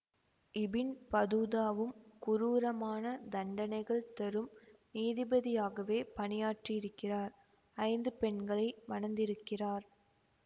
ibn பதூதாவும் குரூரமான தண்டனைகள் தரும் நீதிபதியாகவே பணியாற்றியிருக்கிறார் ஐந்து பெண்களை மணந்திருக்கிறார்